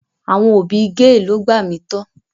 Àwọn òbí gee lo gbà mí to.